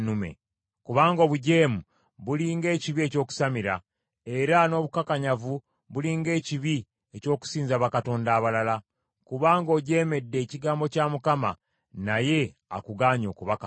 Kubanga obujeemu buli ng’ekibi eky’okusamira, era n’obukakanyavu buli ng’ekibi eky’okusinza bakatonda abalala. Kubanga ojeemedde ekigambo kya Mukama , naye akugaanye okuba kabaka.”